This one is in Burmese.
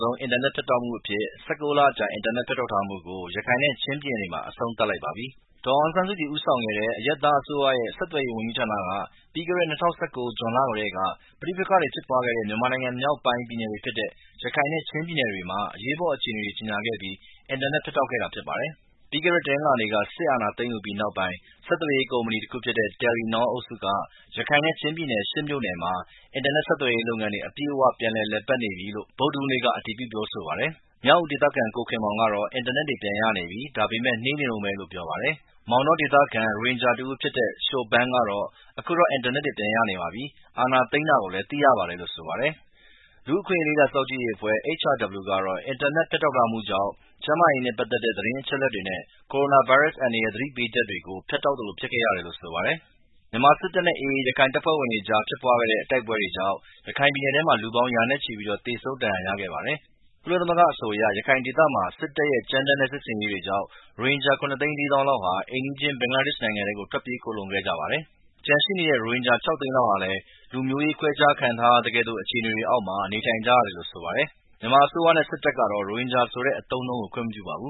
ဆုံးအင်တာနက်ဖြတ်တောက်မှုအဖြစ် ၁၉ လ အကြာ အင်တာနက်ဖြတ်တောက်ထားမှုကို ရခိုင်နဲ့ချင်းပြည်နယ်တွေထဲမှာ အဆုံးသတ်လိုက်ပါပြီ။ ဒေါ်အောင်ဆန်းစုကြည်ဦးဆောင်တဲ့ အရပ်သားအစိုးရရဲ့ ဆက်သွယ်ရေးဝန်ကြီးဌာနက ပြီးခဲ့တဲ့ ၂၀၁၉ ဂျွန်လထဲက ပဋိပက္ခဖြစ်ပွားနေခဲ့တဲ့ မြန်မာနိုင်ငံမြောက်ပိုင်းပြည်နယ်တွေဖြစ်တဲ့ ရခိုင်နဲ့ချင်းပြည်နယ်တွေမှာ အရေးပေါ်အခြေအနေကြေညာပြီး အင်တာနက်ဖြတ်တောက်ခဲ့တာဖြစ်ပါတယ်။ ပြီးခဲ့တဲတနင်္လာနေ့မှာ စစ်အာဏာသိမ်းယူပြီးနောက်ပိုင်း ဆက်သွယ်ရေးကုမ္မဏီတခုဖြစ်တဲ့ Telenor အုပ်စုက ရခိုင်နဲ့ချင်းပြည်နယ် (၈) မြို့နယ်မှာ အင်တာနက်ဆက်သွယ်ရေးလုပ်ငန်းတွေ အပြည့်အ၀ ပြန်လည်လုပ်ကိုင်နေပြီဖြစ်တယ်လို့ ဗုဒ္ဓဟူးနေ့က အတည်ပြုပြောကြားပါတယ်။ မြောက်ဦးဒေသခံ ကိုခင်မောင်ကတော့ အင်တာနက်ပြန်ရနေပြီ။ ဒါပေမယ့် နှေးနေတုန်းပဲလို့ပြောပါတယ်။ မောင်တောဒေသခံ ရိုဟင်ဂျာတဦးဖြစ်တဲ့ Shouban ကလည်း အခုတော့ အင်တာနက်တွေပြန်ရပါပြီ။ အာဏာသိမ်းတာကိုလည်း သိရပါတယ်လို့ ပြောပါတယ်။ လူ့အခွင့်အရေးလေ့လာစောင့်ကြည့်ရေးအဖွဲ့HRW ကတော့ အင်တာနက်ဖြတ်တောက်ထားမှုကြောင့် ကျန်းမာရေးနဲ့ပက်သက်တဲ့ သတင်းအချက်အလက်တွေနဲ့ ကိုရိုနာဗိုင်းရပ်စ် အန္တရာယ်သတိပေးချက်တွေကို ဖြတ်တောက်သလိုဖြစ်ခဲ့ရတယ်လို့ဆိုပါတယ်။ မြန်မာစစ်တပ်နဲ့AA ရခိုင်လက်နက်ကိုင်တပ်ဖွဲ့တွေအကြားဖြစ်ပွားခဲ့တဲ့ တိုက်ပွဲတွေကြောင့် ရခိုင်ပြည်နယ်ထဲ လူပေါင်းရာနဲ့ချီပြီး သေဆုံးဒဏ်ရာရခဲ့ပါတယ်။ ကုလသမဂ္ဂအဆိုအရ ရခိုင်ဒေသမှာ စစ်တပ်ရဲ့ ကြမ်းတမ်းတဲ့စစ်ဆင်ရေးတွေကြောင့်လည်း ရိုဟင်ဂျာ ၇၄၀ ၀၀၀ လောက်ဟာ အိမ်နီးချင်း ဘင်္ဂလားဒေ့ရှ်နိုင်ငံထဲကို ထွက်ပြေးခိုလှုံခဲ့ကြပါတယ်။ ကျန်ရှိတဲ့ ရိုဟင်ဂျာ ၆၀၀ ၀၀၀ ခန့်ဟာလည်း လူမျိုးရေးခွဲခြားခံထားရသကဲ့သို့အခြေအနေတွေအောက်မှာ နေထိုင်နေကြရပါတယ်။ မြန်မာအစိုးရနဲ့စစ်တပ်ကတော့ ရိုဟင်ဂျာဆိုတဲ့ အသုံးအနှုံးကို ခွင့်မပြုပါဘူ